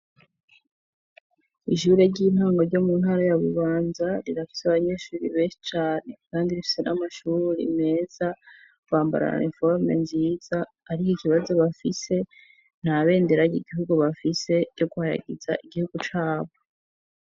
Ishure ry'intango ryo mu ntara ya bubanza rirafise abanyeshuri bese chane kandi rifise n'amashuri uri meza kwambara na informe nziza ariko ikibazo bafise nta benderage igihugu bafise yo kuhayagiza igihugu cabo.